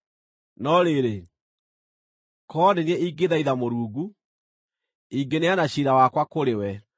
“No rĩrĩ, korwo nĩ niĩ ingĩthaitha Mũrungu; ingĩneana ciira wakwa kũrĩ we.